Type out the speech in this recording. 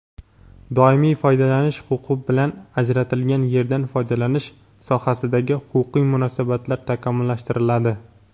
Doimiy foydalanish huquqi bilan ajratilgan yerdan foydalanish sohasidagi huquqiy munosabatlar takomillashtiriladi.